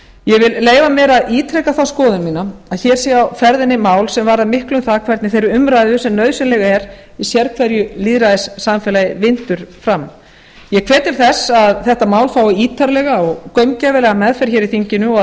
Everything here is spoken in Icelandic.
ég vil leyfa mér að ítreka þá skoðun mína að hér sé á ferðinni mál sem varðar miklu um það hvernig þeirri umræðu sem nauðsynleg er í sérhverju lýðræðissamfélagi vindur fram ég hvet til þess að þetta mál fái ítarlega og gaumgæfilega meðferð hér í þinginu og